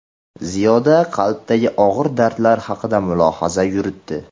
Ziyoda qalbdagi og‘ir dardlar haqida mulohaza yuritdi.